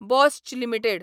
Bosch limited